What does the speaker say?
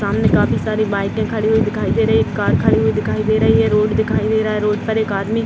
सामने काफी सारी बाइके खड़ी हुई दिखाई दे रही है एक कार खड़ी हुई दिखाई दे रही है रोड दिखाई दे रहा है रोड पर एक आदमी --